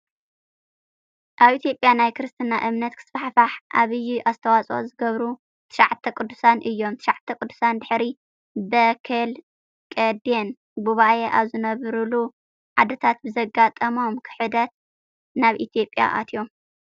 ኣብ ኢትዮጵያ ናይ ክርስትና እምነት ክስፋሕፋሕ ኣብይ ኣስተዋፅኦ ዝገበሩ 9ቱ ቅዱሳን እዮም። 9ቱ ቅዱሳን ድሕሪ በኬልቄደን ጉባኤ ኣብ ዝነብርሉ ዓድታት ብዘጋጠሞም ክህደት ናብ ኢትዮጵያ ኣትዮም።